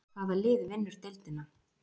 Hvaða lið vinnur deildina?